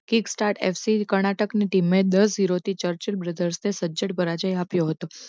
Kick star FC Karnataka ની team એ દસ ઝીરો થી ચર્ચિલ brother ને સજ્જડ પરાજય આપ્યો હતો.